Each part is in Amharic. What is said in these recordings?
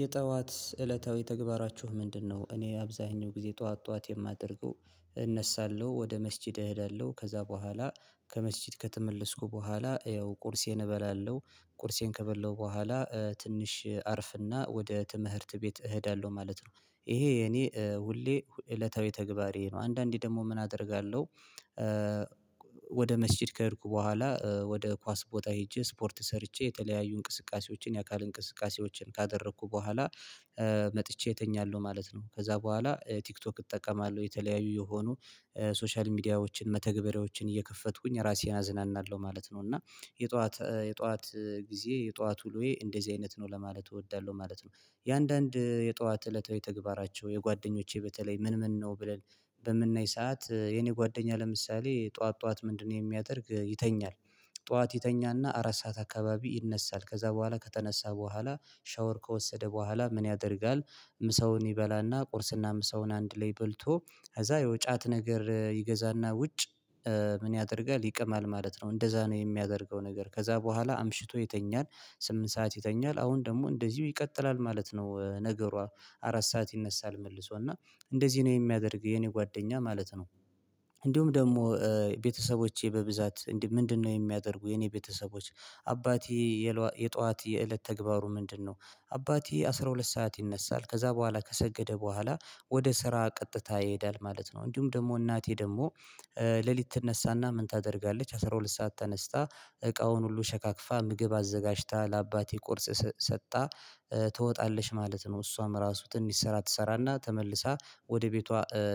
የጠዋት እለታዊ ተግባራችሁ ምንድነው? እኔ አብዛኛው ጊዜ ጠዋት ጠዋት የማደርገው እነሳለሁ ወደ መስጂድ እሄዳለሁ ከዛ በኋላ ከመስጂድ ከተመለስኩ በኋላ ያው ቁርሴን እበላለሁ። ቁርሴን ከበላሁ በኋላ ትንሽ አርፍና ወደ ትምህርት ቤት እሄዳለሁ ማለት ነው ይሄ የኔ ሁሌ እለታዊ ተግባሬ ነው። አንዳንዴ ደግሞ ምን አደርጋለሁ? ወደ መስጂድ ከሄድኩ በኋላ ወደ ኳስ ቦታ ሄጄ ስፖርት ሰርቼ የተለያዩ እንቅስቃሴዎችን የአካል እንቅስቃሴዎችን ካደረኩ በኋላ መጥቼ እተኛለሁ ማለት ነው። ከዛ በኋላ ቲክቶክ እጠቀማለሁ የተለያዩ የሆኑ ሶሻል ሚዲያዎችን መተግበሪያዎችን እየከፈትኩኝ ራሴን አዝናናለሁ ማለት ነው። እና የጠዋት የጠዋት ጊዜ የጠዋት ውሎዬ እንደዚህ አይነት ነው ለማለት እወዳለሁ ማለት ነው። የአንዳንድ የጧት እለታዊ ተግባራቸው የጓደኞቼ በተለይ ምን ምን ነው ብለን በምናይ ሰዓት የኔ ጓደኛ ለምሳሌ ጠዋት ጠዋት ምንድነው? የሚያደርግ ይተኛል። ጠዋት ይተኛና አራት ሰዓት አካባቢ ይነሳል ከዛ በኋላ ከተነሳ በኋላ ሻወር ከወሰደ በኋላ ምን ያደርጋል? ምሳውን ይበላና ቁርስና ምሳውን አንድ ላይ በልቶ ከዛ ያው ጫት ነገር ይገዛና ውጭ ምን ያደርጋል ይቅማል ማለት ነው። እንደዛ ነው የሚያደርገው ነገር ከዛ በኋላ አምሽቶ ይተኛል። ስምንት ሰዓት ይተኛል አሁን ደግሞ እንደዚሁ ይቀጥላል ማለት ነው። ነገሯ አራት ሰዓት ይነሳል መልሶና እንደዚህ ነው የሚያደርግ የኔ ጓደኛ ማለት ነው። እንዲሁም ደግሞ ቤተሰቦቼ በብዛት ምንድነው? የሚያደርጉ የኔ ቤተሰቦች አባቴ የጧት የእለት ተግባሩ ምንድነው? አባቴ አስራ ሁለት ሰዓት ይነሳል ከዛ በኋላ ከሰገደ በኋላ ወደ ስራ ቀጥታ ይሄዳል ማለት ነው። እንዲሁም ደግሞ እናቴ ደግሞ ሌሊት ትነሳና ምን ታደርጋለች? አስራ ሁለት ሰዓት ተነስታ እቃውን ሁሉ ሸካክፋ ምግብ አዘጋጅታ ለአባቴ ቁርስ ሰጣ ትወጣለሽ ማለት ነው። እሷም ራሱ ትንሽ ስራ ትሰራና ተመልሳ ወደ ቤቷ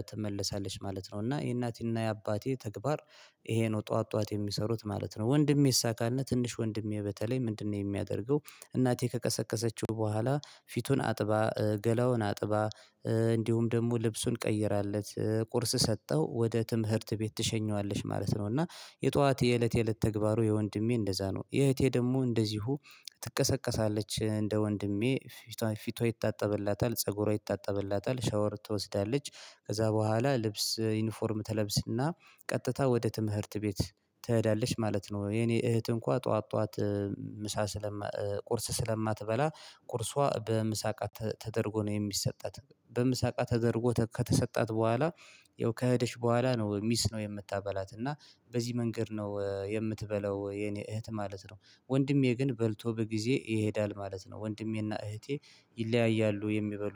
ትመለሳለች ማለት ነው። እና የእናቴና የአባቴ ተግባር ይሄ ነው ጠዋት ጠዋት የሚሰሩት ማለት ነው። ወንድሜሳ ካልነ ትንሽ ወንድሜ በተለይ ምንድነው? የሚያደርገው እናቴ ከቀሰቀሰችው በኋላ ፊቱን አጥባ ገላውን አጥባ እንዲሁም ደግሞ ልብሱን ቀይራለት ቁርስ ሰጠው ወደ ትምህርት ቤት ትሸኘዋለች ማለት ነው። እና የጧት የእለት የእለት ተግባሩ የወንድሜ እንደዛ ነው። የእህቴ ደግሞ እንደዚሁ ትቀሰቀሳለች እንደ ወንድሜ ፊቷ ፊቷ ይታጠብላታል ፀጉሯ ይታጠብላታል ሻወር ትወስዳለች። ከዛ በኋላ ልብስ ዩኒፎርም ተለብስና ቀጥታ ወደ ትምህርት ቤት ትሄዳለች ማለት ነው። የኔ እህት እንኳ ጠዋት ጠዋት ምሳ ስለማ ቁርስ ስለማትበላ ቁርሷ በምሳቃ ተደርጎ ነው የሚሰጣት በምሳቃ ተደርጎ ከተሰጣት በኋላ ያው ከሄደች በኋላ ነው ሚስ ነው የምታበላት እና በዚህ መንገድ ነው የምትበላው የኔ እህት ማለት ነው። ወንድሜ ግን በልቶ በጊዜ ይሄዳል ማለት ነው። ወንድሜና እህቴ ይለያያሉ የሚበሉ